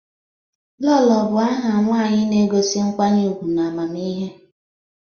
Lolo bụ aha ụmụ nwanyị na-egosi nkwanye ugwu na amamihe.